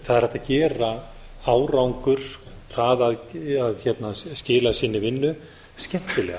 það er hægt að gera árangur að skila sinni vinnu skemmtilega